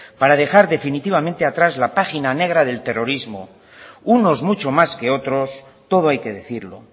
para dejar definitivamente atrás la página negra del terrorismo unos mucho más que otros todo hay que decirlo